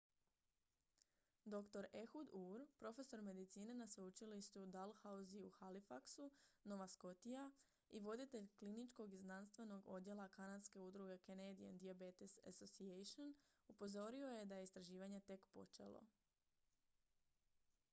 dr ehud ur profesor medicine na sveučilištu dalhousie u halifaxu nova scotia i voditelj kliničkog i znanstvenog odjela kanadske udruge canadian diabetes association upozorio je da je istraživanje tek počelo